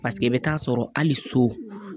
Paseke i bɛ taa sɔrɔ hali so